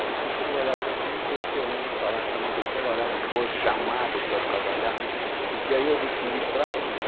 Aí eu fui trabalhar até com uma pessoa, não vou falar que uma, fui trabalhar depois, chamado para trabalhar, porque aí eu adquiri prática